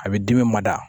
A bɛ dimi mada